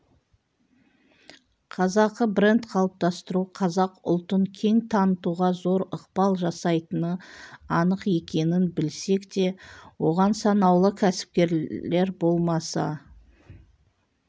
қазақы бренд қалыптастыру қазақ ұлтын кең танытуға зор ықпал жасайтыны анық екенін білсек те оған санаулы кәсіпкерлер болмаса